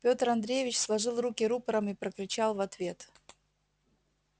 петр андреевич сложил руки рупором и прокричал в ответ